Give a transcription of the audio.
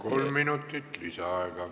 Kolm minutit lisaaega.